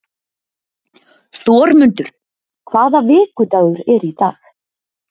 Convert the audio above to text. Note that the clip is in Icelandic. Þormundur, hvaða vikudagur er í dag?